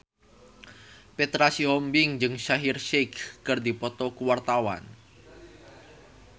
Petra Sihombing jeung Shaheer Sheikh keur dipoto ku wartawan